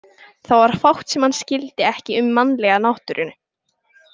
Það var fátt sem hann skildi ekki um mannlega náttúru.